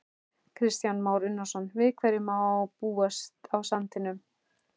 Kristján Már Unnarsson: Við hverju má búast á sandinum?